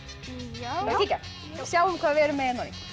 já sjáum hvað við erum með